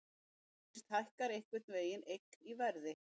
Fyrst hækkar einhver eign í verði.